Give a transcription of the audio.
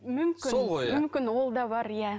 мүмкін мүмкін ол да бар иә